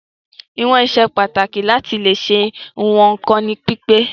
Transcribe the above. Ìwọ̀n ṣe pàtàkì láti leè ṣe ìwọn ohun kan ní pípé.